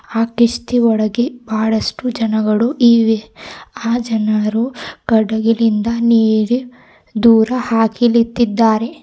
ಆ ಕಿಷ್ಟಿ ಒಳಗೆ ಬಹಳಷ್ಟು ಜನಗಳು ಈವಿ ಆ ಜನರು ಕಡಲದಿಂದ ನೀರಿ ದೂರ ಹಾಕಿಲ್ತಿದ್ದಾರೆ.